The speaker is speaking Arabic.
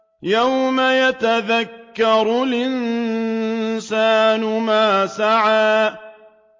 يَوْمَ يَتَذَكَّرُ الْإِنسَانُ مَا سَعَىٰ